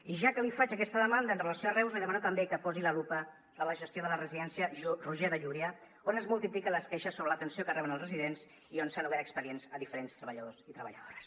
i ja que li faig aquesta demanda en relació amb reus li demano també que posi la lupa en la gestió de la residència roger de llúria on es multipliquen les queixes sobre l’atenció que reben els residents i on s’han obert expedients a diferents treballadors i treballadores